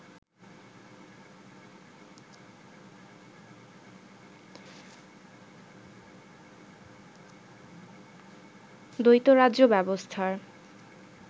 দ্বৈত রাজ্য ব্যবস্থার